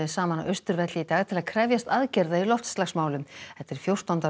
saman á Austurvelli í dag til að krefjast aðgerða í loftslagsmálum þetta er fjórtánda